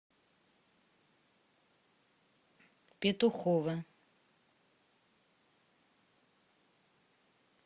петухово